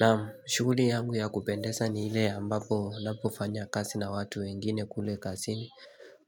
Naam shughuli yangu ya kupendeza ni ile ambapo unapofanya kazi na watu wengine kule kazini